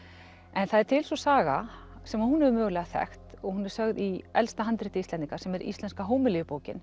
en það er til sú saga sem að hún hefur mögulega þekkt og hún er sögð í elsta handriti Íslendinga sem er Íslenska